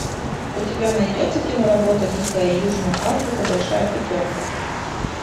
у тебя найдется киноработа дикая южная африка большая пятерка